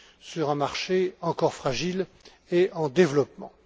sur un marché encore fragile et en développement.